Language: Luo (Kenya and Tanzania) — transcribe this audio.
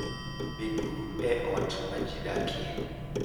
Beduru e ot ma ji dakie.